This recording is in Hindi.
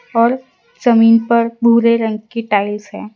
और जमीन पर भुरे रंग की टाइल्स हैं।